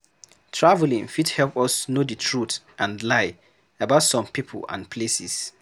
Travelling fit help us know the truth and lie about some people and places